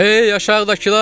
Hey aşağıdakılar!